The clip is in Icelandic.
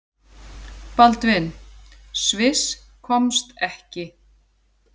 Baldvin: Sviss komst ekki.